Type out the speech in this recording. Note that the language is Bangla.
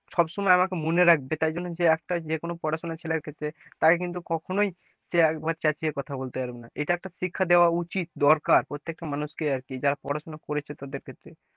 সব সময় আমাকে মনে রাখবে, তাই জন্য যে একটা যেকোনো পড়াশোনা ছেলের ক্ষেত্রে তাকে কিন্তু কখনোই সে চেঁচিয়ে কথা বলতে পারবে না, এটা একটা শিক্ষা দেওয়া উচিত দরকার প্রত্যেকটা মানুষকে আর কি, যারা পড়াশোনা করেছে তাদের ক্ষেত্রে,